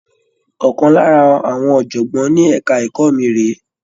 Ọ̀kan lára àwọn ọ̀jọ̀gbọ́n ní ẹ̀ka ẹ̀kọ́ mi rèé.